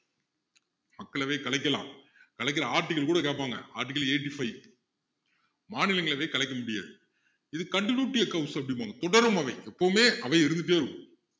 மக்களவையை கலைக்கலாம் கலைக்குற article கூட கேப்பாங்கா article eighty-five மாநிலங்களவையை கலைக்க முடியாது இது continuity அப்படிம்பாங்க தொடரும் அவை எப்பவுமே அவை இருந்துட்டே இருக்கும்